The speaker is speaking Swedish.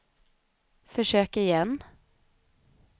försök igen